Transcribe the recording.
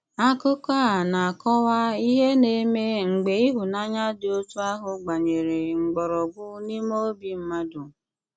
Akùkọ̀ a na-àkọ̀wà ìhè na-èmè mgbè ìhụ̀nànyà dị̀ otu ahụ̀ gbànyèrè mkpọ̀rọ̀gwụ̀ n’ímè òbí mmádụ̀’.